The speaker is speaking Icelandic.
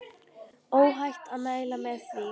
Óhætt að mæla með því.